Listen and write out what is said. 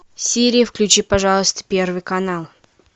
сири включи пожалуйста первый канал